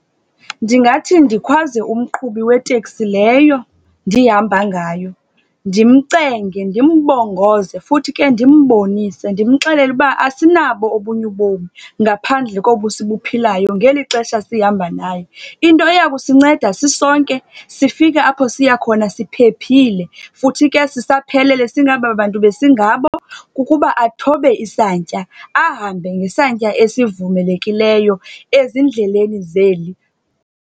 Ndingathi ndikhwaze umqhubi weteksi leyo ndihamba ngayo, ndimcenge, ndimbongoze, futhi ke ndimbonise, ndimxelele uba asinabo obunye ubom ngaphandle kobu sibuphilayo ngeli xesha sihamba naye. Into eya kusinceda sisonke sifike apho siya khona siphephile, futhi ke sisaphelele singababantu besingabo, kukuba athobe isantya. Ahambe ngesantya esivumelekileyo ezindleleni zeli.